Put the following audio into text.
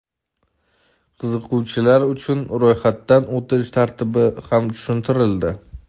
qiziquvchilar uchun ro‘yxatdan o‘tish tartibi ham tushuntirildi.